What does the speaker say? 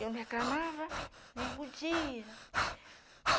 Eu não reclamava, nem podia.